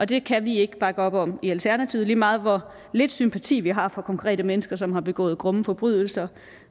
det kan vi ikke bakke op om i alternativet lige meget hvor lidt sympati vi har for konkrete mennesker som har begået grumme forbrydelser